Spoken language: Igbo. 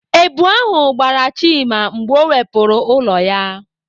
Èbù ahụ gbara Chima mgbe ọ wepụrụ ụlọ ya.